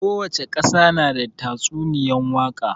Kowace ƙasa na da tatsuniyan waka